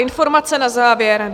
Informace na závěr.